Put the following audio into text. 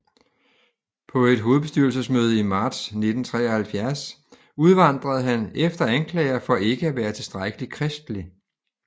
På et hovedbestyrelsesmøde i marts 1973 udvandrede han efter anklager for ikke at være tilstrækkeligt kristelig